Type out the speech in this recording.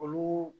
Olu